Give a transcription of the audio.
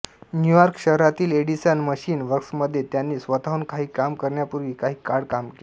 New York शहरातील Edison machine वर्क्समध्ये त्याने स्वतःहून काही काम करण्यापूर्वी काही काळ काम केले